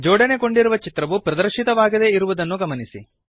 ಜೋಡಣೆಗೊಂಡಿರುವ ಚಿತ್ರವು ಪ್ರದರ್ಶಿತವಾಗದೇ ಇರುವುದನ್ನು ಗಮನಿಸಿ